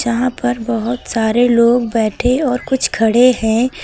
यहां पर बहुत सारे लोग बैठे और कुछ खड़े हैं।